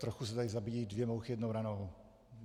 Trochu se tady zabíjejí dvě mouchy jednou ranou.